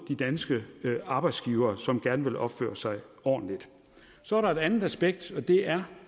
de danske arbejdsgivere som gerne vil opføre sig ordentligt så er der et andet aspekt og det er